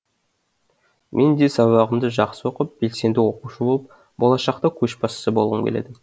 мен де сабағымды жақсы оқып белсенді оқушы болып болашақта көшбасшы болғым келеді